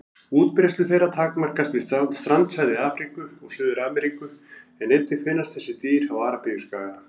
Útbreiðslu þeirra takmarkast við strandsvæði Afríku og Suður-Ameríku en einnig finnast þessi dýr á Arabíuskaga.